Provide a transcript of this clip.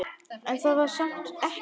En það var samt ekki.